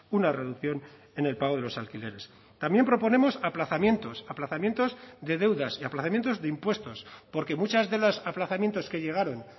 una reducción en el pago de los alquileres también proponemos aplazamientos aplazamientos de deudas y aplazamientos de impuestos porque muchas de los aplazamientos que llegaron